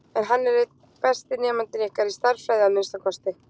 En hann er einn besti nemandinn ykkar, í stærðfræði að minnsta kosti.